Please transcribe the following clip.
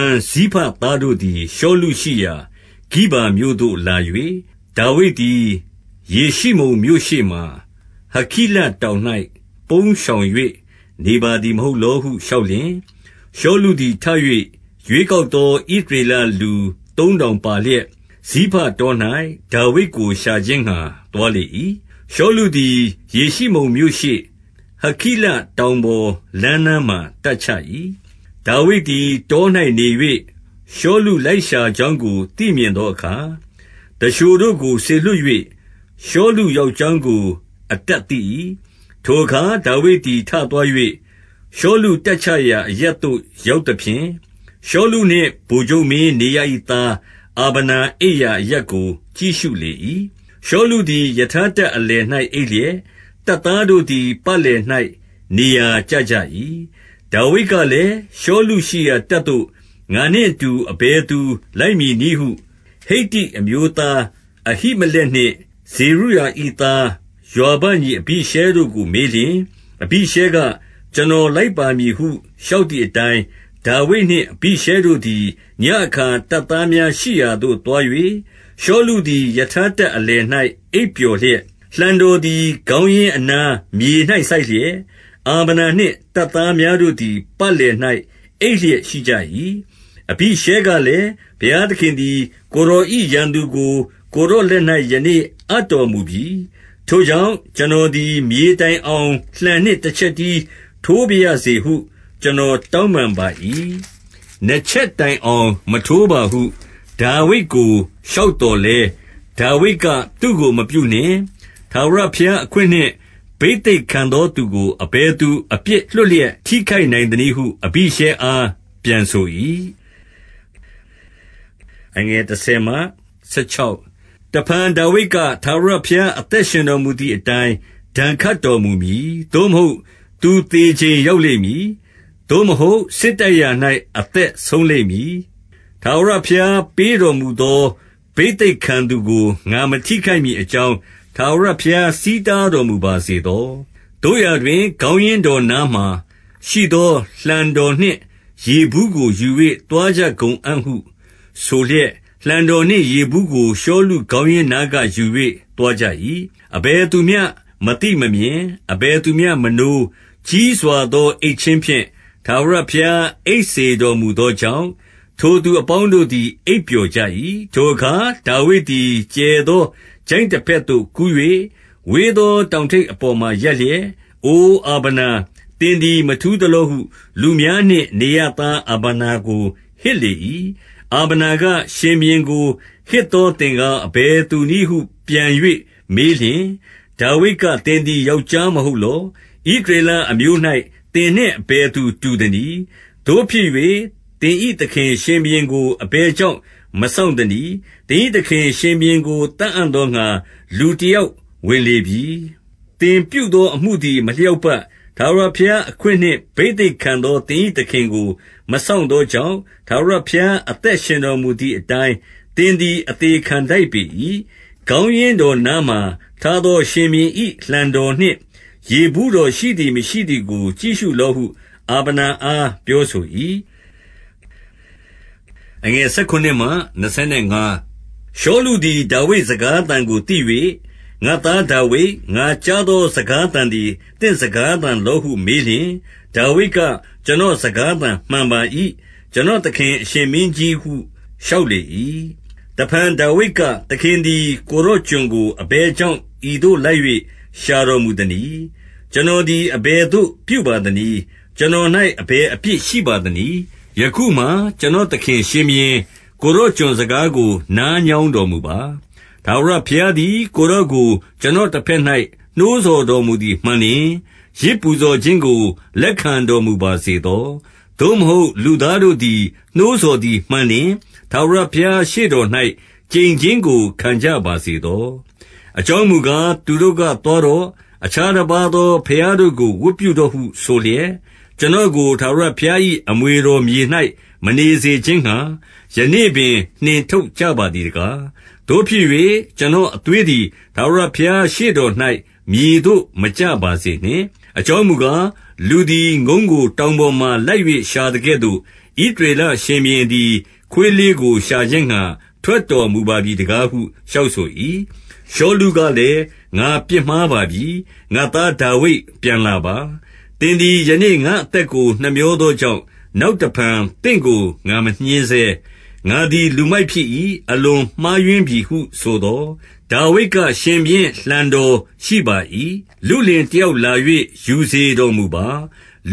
န်ဇိဖသားတို့သည် ရှောလုရှိရာ ဂိဗာမြို့သို့လာ၍၊ ဒါဝိဒ်သည် ယေရှိမုန်မြို့ရှေ့မှာ ဟခိလတောင်၌ ပုန်းရှောင်၍ နေပါသည်မဟုတ်လောဟု လျှောက်လျှင်၊ 2 ရှောလုသည် ထ၍ ရွေးကောက်သော ဣသရေလလူသုံးထောင်ပါလျက်၊ ဇိဖတော၌ ဒါဝိဒ်ကို ရှာခြင်းငှါသွားလေ၏။ 3 ရှောလုသည် ယေရှိမုန်မြို့ရှေ့၊ ဟခိလတောင်ပေါ်လမ်းနားမှာ တပ်ချ၏။ ဒါဝိဒ်သည် တော၌နေ၍ ရှောလုလိုက်ရှာကြောင်းကို သိမြင်သောအခါ၊ 4 သူလျှိုတို့ကို စေလွှတ်၍ ရှောလုရောက်ကြောင်းကို အတပ်သိ၏။ 5 ထိုအခါ ဒါဝိဒ်သည် ထသွား၍၊ ရှောလု တပ်ချရာအရပ်သို့ရောက်သဖြင့်၊ ရှောလုနှင့် ဗိုလ်ချုပ်မင်း နေရ၏သား အာဗနာ အိပ်ရာအရပ်ကို ကြည့်ရှုလေ၏။ ရှောလုသည် ရထားတပ်အလယ်၌ အိပ်လျက်၊ တပ်သားတို့သည် ပတ်လည်၌ နေရာကျကြ၏။ 6 ဒါဝိဒ်ကလည်း၊ ရှောလုရှိရာ တပ်သို့ ငါနှင့် အတူ အဘယ်သူလိုက်မည်နည်းဟု ဟိတ္တိအမျိုးသား အဟိမလက်နှင့် ဇေရုယာ၏သား ယွာဘညီ အဘိရှဲတို့ကို မေးလျှင်၊ အဘိရှဲက ကျွန်တော် လိုက်ပါမည်ဟု လျှောက်သည်အတိုင်း၊ 7 ဒါဝိဒ်နှင့် အဘိရှဲတို့သည် ညဉ့်အခါ တပ်သားများရှိရာသို့ သွား၍ ရှောလုသည် ရထားတပ်အလယ်၌ အိပ်ပျော်လျက်၊ လှံတော်သည် ခေါင်းရင်းအနား မြေ၌ စိုက်လျက်၊ အာဗနာနှင့် တပ်သားများတို့သည် ပတ်လည်၌အိပ်လျက်ရှိကြ၏။ 8 အဘိရှဲကလည်း၊ ဘုရားသခင်သည် ကိုယ်တော်၏ ရန်သူကို ကိုယ်တော်လက်၌ ယနေ့အပ်တော်မူပြီ။ ထိုကြောင့် ကျွန်တော်သည် မြေတိုင်အောင်လှံနှင့် တချက်တည်းထိုးပါရစေဟု ကျွန်တော် တောင်းပန်ပါ၏။ နှစ်ချက်တိုင်အောင် မထိုးပါဟု ဒါဝိဒ်ကို လျှောက်သော်လည်း၊ 9 ဒါဝိဒ်ကသူ့ကို မပြုနှင့်။ ထာဝရဘုရားအခွင့်နှင့် ဘိသိက်ခံသော သူကို အဘယ်သူ အပြစ်လွှတ်လျက် ထိခိုက်နိုင်သနည်းဟု အဘိရှဲအား ပြန်ဆို၏။ 10 တဖန်ဒါဝိဒ်က၊ ထာဝရဘုရားအသက် ရှင်တော်မူသည်အတိုင်း၊ ဒဏ်ခတ်တော်မူမည်။ သို့မဟုတ် သူသေချိန်ရောက်လိမ့်မည်။ သို့မဟုတ် စစ်တိုက်ရာ၌ အသက်ဆုံးလိမ့်မည်။ 11 ထာဝရဘုရား ပေးတော်မူသော ဘိသိက်ခံသူကို ငါမထိခိုက်မည်အကြောင်း ထာဝရဘုရား ဆီးတားတော်မူပါစေသော။ သို့ရာတွင် ခေါင်းရင်းတော်နားမှာရှိသော လှံတော်နှင့် ရေဘူးကို ယူ၍ သွားကြကုန်အံ့ဟု ဆိုလျက်၊ 12 လှံတော်နှင့် ရေဘူးကို ရှောလုခေါင်းရင်းနားက ယူ၍ သွားကြ၏။ အဘယ်သူမျှ မသိမမြင်၊ အဘယ်သူမျှ မနိုး၊ ကြီးစွာသော အိပ်ခြင်းဖြင့် ထာဝရဘုရား အိပ်စေတော်မူသောကြောင့်၊ ထိုသူအပေါင်းတို့သည် အိပ်ပျော်ကြ၏။ 13 ထိုအခါ ဒါဝိဒ်သည် ကျယ်သောချိုင့် တဘက်သို့ကူး၍၊ ဝေးသော တောင်ထိပ် အပေါ်မှာရပ်လျက်၊ 14 အိုအာဗနာ၊ သင်သည် မထူးသလောဟု လူများနှင့် နေရသား အာဗနာကို ဟစ်လေ၏။ အာဗနာက၊ ရှင်ဘုရင်ကို ဟစ်သောသင်ကား အဘယ်သူနည်းဟု ပြန်၍မေးလျှင်၊ 15 ဒါဝိဒ်က၊ သင်သည်ယောက်ျားမဟုတ်လော။ ဣသရေလအမျိုး၌ သင်နှင့်အဘယ်သူ တူသနည်း။ သို့ဖြစ်၍ သင်၏သခင် ရှင်ဘုရင်ကို အဘယ်ကြောင့်မစောင့်သနည်း။ သင်၏သခင်ရှင်ဘုရင်ကို သတ်အံ့သောငှါ လူတယောက်ဝင်လေပြီ။ 16 သင်ပြုသောအမှုသည် မလျောက်ပတ်။ ထာဝရဘုရားအခွင့်နှင့် ဘိသိက်ခံသော သင်၏သခင်ကို မစောင့်သောကြောင့်၊ ထာဝရဘုရား အသက်ရှင်တော်မူသည်အတိုင်း သင်သည် အသေခံထိုက်ပေ၏။ ခေါင်းရင်းတော်နားမှာ ထားသော ရှင်ဘုရင်၏ လှံတော်နှင့် ရေဘူးတော်ရှိသည် မရှိသည်ကို ကြည့်ရှုလော့ဟု အာဗနာအားပြောဆို၏။ 17 ရှောလုသည် ဒါဝိဒ်စကားသံကို သိ၍ ငါ့သားဒါဝိဒ်၊ ငါကြားသော စကားသံသည် သင့်စကားသံလောဟု မေးလျှင် ဒါဝိဒ်က ကျွန်တော်စကားသံမှန်ပါ၏။ ကျွန်တော်သခင်အရှင်မင်းကြီးဟု လျှောက်လေ၏။ 18 တဖန်ဒါဝိဒ်က၊ သခင်သည် ကိုယ်တော်ကျွန်ကို အဘယ်ကြောင့် ဤသို့လိုက်၍ရှာတော်မူသနည်း။ ကျွန်တော်သည် အဘယ်သို့ပြုပါသနည်း။ ကျွန်တော်အဘယ်အပြစ် ရှိပါသနည်း။ 19 ယခုမှာ ကျွန်တော်သခင်ရှင်ဘုရင်၊ ကိုယ်တော်ကျွန်တော်စကားကို နားညောင်းတော်မူပါ။ ထာဝရဘုရားသည် ကိုယ်တော်ကို ကျွန်တော်တဘက်၌ နှိုးဆော်တော်မူသည် မှန်လျှင်၊ ယဇ်ပူဇော်ခြင်းကို လက်ခံတော်မူပါစေသော။ သို့မဟုတ် လူသားတို့ နှိုးဆော်သည် မှန်လျှင်၊ ထာဝရဘုရား ရှေ့တော်၌ ကျိန်ခြင်းကို ခံကြပါစေသော။ အကြောင်းမူကား၊ သူတို့က သွားတော့။ အခြားတပါးသော ဘုရားတို့ကို ဝတ်ပြုတော့ဟု ဆိုလျက် ကျွန်တော်ကို ထာဝရဘုရား၏ အမွေတော်မြေ၌ မနေစေခြင်းငှါ ယနေ့ပင် နှင်ထုတ်ကြပါသည်တကား။ 20 သို့ဖြစ်၍ ကျွန်တော်အသွေးသည် ထာဝရဘုရားရှေ့တော်၌ မြေသို့ မကျပါစေနှင့်။ အကြောင်းမူကား၊ လူသည် ငုံးကို တောင်ပေါ်မှာလိုက်၍ ရှာသကဲ့သို့ ဣသရေလရှင်ဘုရင်သည် ခွေးလှေးကို ရှာခြင်းငှါ ထွက်တော်မူပါပြီတကားဟု လျှောက်ဆို၏။ 21 ရှောလုကလည်း ငါပြစ်မှားပါပြီ။ ငါ့သားဒါဝိဒ် ပြန်လာပါ။ သင်သည် ယနေ့ငါ့အသက်ကို နှမြောသောကြောင့်၊ နောက်တဖန် သင့်ကို ငါမညှဉ်းဆဲ။ ငါသည် လူမိုက်ဖြစ်၏။ အလွန် မှားယွင်းပြီဟု ဆိုသော်၊ 22 ဒါဝိဒ်က၊ ရှင်ဘုရင်လှံတော်ရှိပါ၏။ လုလင်တယောက်လာ၍ ယူစေတော်မူပါ။